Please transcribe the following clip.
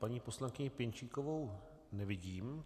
Paní poslankyni Pěnčíkovou nevidím.